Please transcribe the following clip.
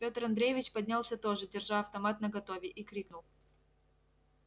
пётр андреевич поднялся тоже держа автомат наготове и крикнул